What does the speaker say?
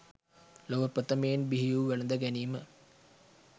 ලොව ප්‍රථමයෙන් බිහිවූ වැළඳ ගැනීම